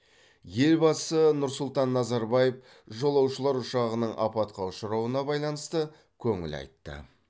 елбасы нұр сұлтан назарбаев жолаушылар ұшағының апатқа ұшырауына байланысты көңіл айтты